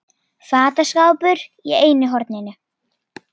Fataskápur í einu horninu.